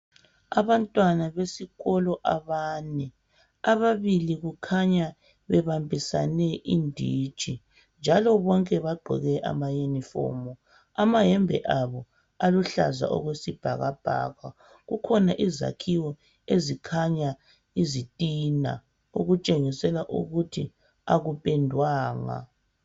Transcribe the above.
Abantwana besikolo abane ababili kukhanya bebambisene inditshi njalo bonke bagqoke ama unirfom amayembe aluhlaza okwesibhakabhaka kukhona izakhiwo ezikhanya izitina okutshengisela ukuthi akupendwanga